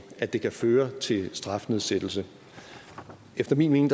at det kan føre til strafnedsættelse efter min mening